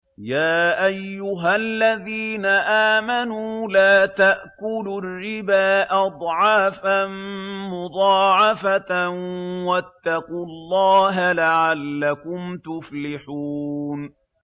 يَا أَيُّهَا الَّذِينَ آمَنُوا لَا تَأْكُلُوا الرِّبَا أَضْعَافًا مُّضَاعَفَةً ۖ وَاتَّقُوا اللَّهَ لَعَلَّكُمْ تُفْلِحُونَ